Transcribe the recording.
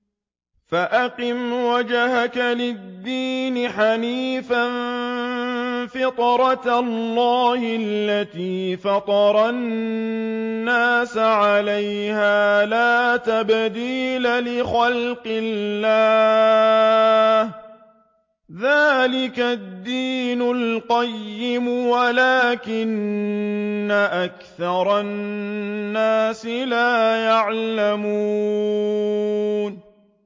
فَأَقِمْ وَجْهَكَ لِلدِّينِ حَنِيفًا ۚ فِطْرَتَ اللَّهِ الَّتِي فَطَرَ النَّاسَ عَلَيْهَا ۚ لَا تَبْدِيلَ لِخَلْقِ اللَّهِ ۚ ذَٰلِكَ الدِّينُ الْقَيِّمُ وَلَٰكِنَّ أَكْثَرَ النَّاسِ لَا يَعْلَمُونَ